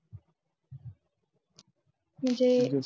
म्हणजे .